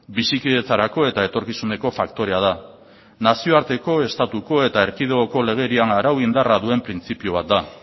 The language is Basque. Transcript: bizikidetzarako eta etorkizuneko faktorea da nazioarteko estatuko eta erkidegoko legerian arau indarra duen printzipio bat da